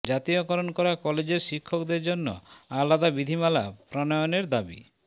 জাতীয়করণ করা কলেজের শিক্ষকদের জন্য আলাদা বিধিমালা প্রণয়নের দাবি